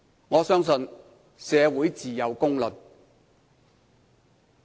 我相信社會自有公論。